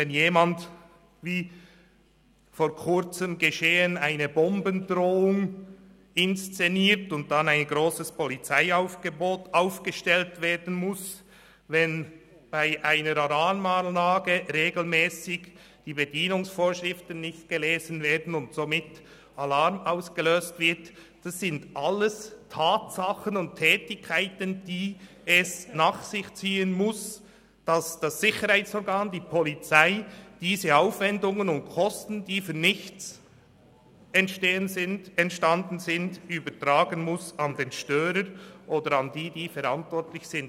Wenn jemand, wie vor Kurzem geschehen, eine Bombendrohung inszeniert und deswegen ein grosses Polizeiaufgebot aufgestellt werden muss, wenn bei einer Alarmanlage die Bedienungsvorschriften nicht gelesen werden und somit regelmässig Alarm ausgelöst wird, dann sind das alles Tatsachen und Tätigkeiten, die es nach sich ziehen müssen, dass das Sicherheitsorgan, die Polizei, diese Aufwendungen und Kosten, die umsonst entstanden sind, an den Störer überträgt oder an die, die dafür verantwortlich sind.